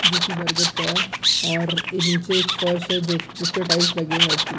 जो की बरगद का है और इ नीचे एक फर्श है जिस पर टाइल्स लगी है व्हाइट कलर की |